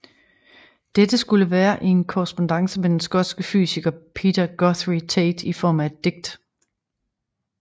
Dette skulle være i en korrespondance med den skotske fysiker Peter Guthrie Tait i form af et digt